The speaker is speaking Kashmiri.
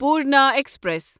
پورنا ایکسپریس